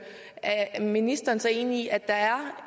er ministeren så enig i at der er